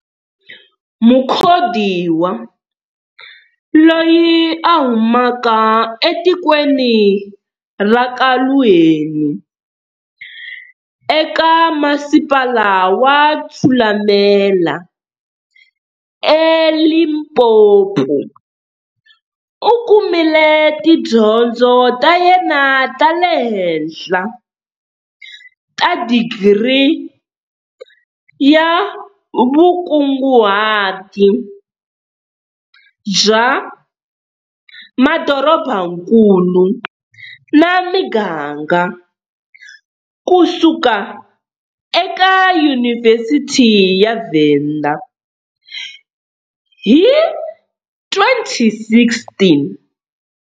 Mukhodiwa, loyi a humaka etikweni ra ka Luheni eka Masipala wa Thulamela eLimpopo u kumile tidyondzo ta yena ta le henhla ta digiri ya vukunguhati bya madorobankulu na Miganga kusuka eYunivhesiti ya Venda hi 2016.